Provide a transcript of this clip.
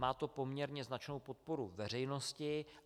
Má to poměrně značnou podporu veřejnosti.